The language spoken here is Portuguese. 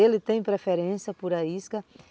Ele tem preferência por a isca.